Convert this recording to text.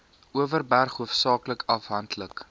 overberg hoofsaaklik afhanklik